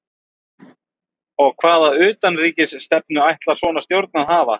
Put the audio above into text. Og hvaða utanríkisstefnu ætlar svona stjórn að hafa?